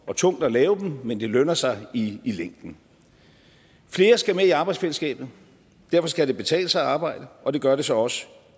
og tungt at lave dem men det lønner sig i længden flere skal med i arbejdsfællesskabet og derfor skal det kunne betale sig at arbejde og det gør det så også